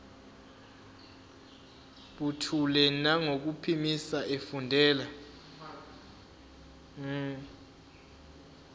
buthule nangokuphimisa efundela